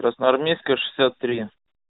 красноармейская шестьдесят три